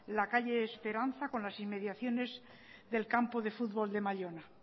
la calle esperanza con las inmediaciones del campo de futbol de mallona